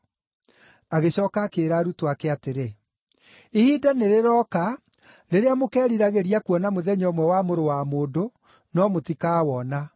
Agĩcooka akĩĩra arutwo ake atĩrĩ, “Ihinda nĩrĩroka rĩrĩa mũkeriragĩria kuona mũthenya ũmwe wa Mũrũ wa Mũndũ, no mũtikawona.